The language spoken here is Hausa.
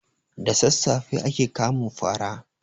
Da sassafe ake kamun fara.